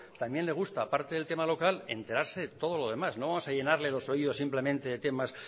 también le gusta aparte del tema local enterarse de todos los demás no vamos a llenarle los oídos simplemente de temas